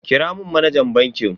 Kira mun manajan bankin.